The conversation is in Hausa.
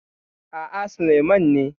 A'a, Sulaiman ne.